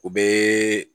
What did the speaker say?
O bɛ